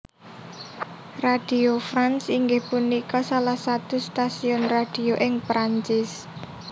Radio France inggih punika salah satu stasiun radio ing Prancis